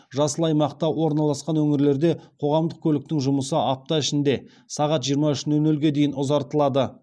жасыл аймақта орналасқан өңірлерде қоғамдық көліктің жұмысы апта ішінде сағат жиырма үш нөл нөлге дейін ұзартылады